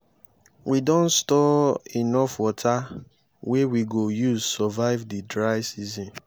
we don store enough water wey we go use survive di dry season.